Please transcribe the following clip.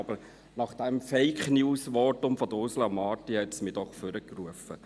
Aber das Fake-News-Votum von Ursula Marti hat mich ans Rednerpult gebracht.